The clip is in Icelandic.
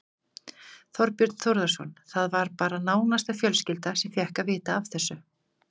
Þorbjörn Þórðarson: Það var bara nánasta fjölskylda sem fékk að vita af þessu?